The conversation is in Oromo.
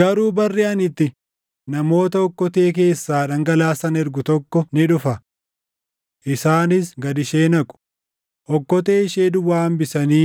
Garuu barri ani itti namoota okkotee keessaa dhangalaasan // ergu tokko ni dhufa. Isaanis gad ishee naqu; okkotee ishee duwwaa hambisanii